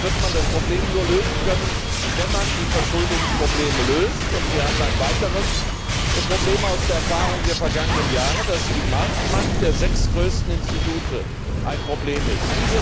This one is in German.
Deshalb wird man das Problem nur lösen können, wenn man die Verschuldungsprobleme löst. Wir haben ein weiteres Problem aus den Erfahrungen der vergangenen Jahre erkannt, dass nämlich die Marktmacht der sechs größten Institute ein Problem ist.